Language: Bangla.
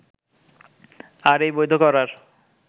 আর এই বৈধ করার